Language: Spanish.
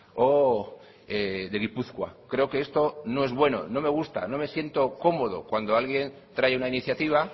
o de gipuzkoa creo que esto no es bueno no me gusta no me siento cómodo cuando alguien trae una iniciativa